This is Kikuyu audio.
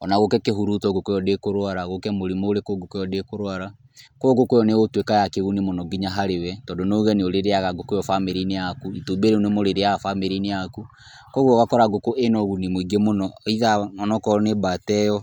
o na gũũke kĩhuruto ngukũ ĩyo ndĩkũrwara , gũũke mũrimũ ũrĩkũ ngũkũ ĩyo ndĩkũrwara, kwoguo ngũkũ ĩyo nĩ ĩgũtuĩka ya kĩguni mũno nginya harĩ we, tondũ no uuge nĩ ũrĩrĩaga ngũkũ ĩyo bamĩrĩ-inĩ yaku, itumbĩ rĩu nĩ mũrĩrĩaga bamĩrĩ-inĩ yaku, kwoguo ũgakora ngũkũ ĩna ũguni mũingĩ mũno either onokorwo nĩ mbata ĩyo.